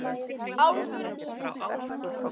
Ólafur Ívar.